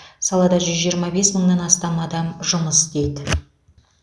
салада жүз жиырма бес мыңнан астам адам жұмыс істейді